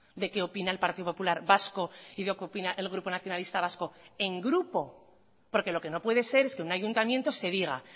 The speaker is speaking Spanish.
de qué opina el partido popular vasco y de qué opina el grupo nacionalista vasco en grupo porque lo que no puede ser es que un ayuntamiento se diga